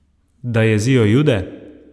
Da jezijo Jude?